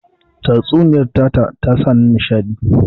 Tatsuniyar tata ta sa ni nishaɗi